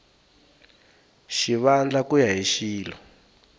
xivandla ku ya hi xilo